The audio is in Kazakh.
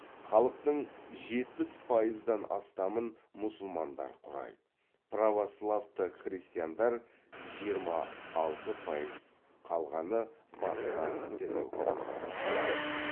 халықтың жетпіс пайыздан астамын мұсылмандар құрайды православты христиандар жиырма алты пайыз қалғаны басқа дін өкілдері